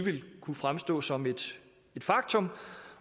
ville kunne fremstå som et faktum